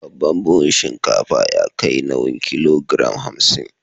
Babban buhun shinkafa ya kai nauyin kilogiram hamsin.